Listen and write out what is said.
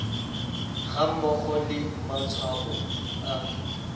ga mmogo le matshwao a